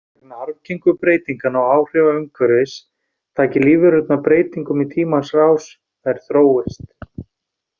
Vegna arfgengu breytinganna og áhrifa umhverfis taki lífverurnar breytingum í tímans rás, þær þróist.